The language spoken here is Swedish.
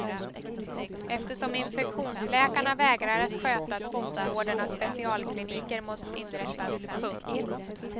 Eftersom infektionsläkarna vägrar att sköta tvångsvården har specialkliniker måst inrättas. punkt